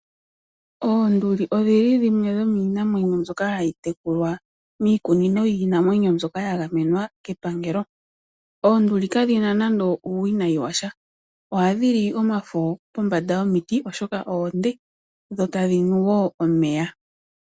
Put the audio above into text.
Oonduli odhi li dhimwe dhomiinamwenyo mbyoka hayi tekulwa miikununo yiinanwenyo mbyoka yagamenwa kepangelo. Oonduli kadhi na nando uuwinayi washa, ohadhi li omafo pombanda yomiti oshoka oonde dho tadhi nu wo omeya.